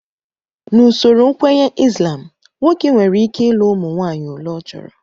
N'usoro nkwenye Islam, nwoke nwereike ọlị ụmụ nwaanyị ole ọ chọrọ